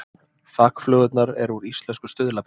Þakflögurnar eru úr íslensku stuðlabergi